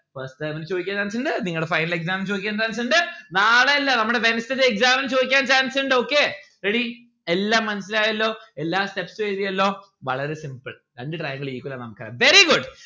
first term ഇൽ ചോദിക്കാൻ chance ഇണ്ട് നിങ്ങളെ final exam ൽ ചോയ്ക്കാൻ chance ഇണ്ട് നാളെ അല്ലെ നമ്മൾടെ wednesday ത്തെ exam ന് ചോദിക്കാൻ chance ഇണ്ട് okay ready എല്ലാം മനസ്സിലായല്ലോ എല്ലാ steps ഉ എഴുതിയല്ലോ വളരെ simple രണ്ട്‌ triangle equal ആണ് ന്ന് നമ്മുക്ക് അറിയാം very good